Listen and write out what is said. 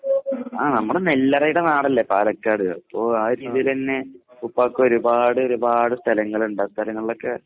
ആഹ് നമ്മുടെ നെല്ലറയുടെ നാടല്ലേ പാലക്കാട്. അപ്പോ ആ ഒരു രീതിയിലന്നെ ഉപ്പാക്ക് ഒരുപാട് ഒരുപാട് സ്ഥലങ്ങളുണ്ട് ആ സ്ഥലങ്ങളിലൊക്കെ